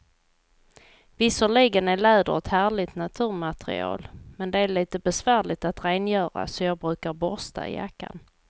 Visserligen är läder ett härligt naturmaterial, men det är lite besvärligt att rengöra, så jag brukar borsta jackan.